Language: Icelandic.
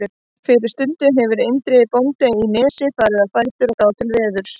Fyrir stundu hefur Indriði bóndi í Nesi farið á fætur og gáð til veðurs.